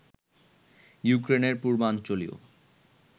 ইউক্রেনের পূর্বাঞ্চলীয়